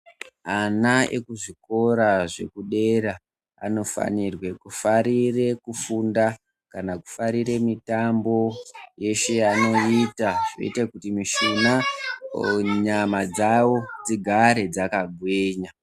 Ana ekuzvikora zvekudera anofanirwe kufarire kufunda kana kufarire mitambo yeshe yavanoita inoita kuti mishuna, nyama dzavo dzigare dzakagwinya.